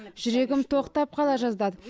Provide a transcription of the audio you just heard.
жүрегім тоқтап қала жаздады